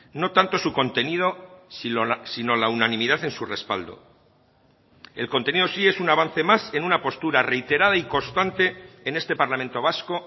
no tanto su contenido sino la unanimidad en su respaldo el contenido sí es un avance más en una postura reiterada y constante en este parlamento vasco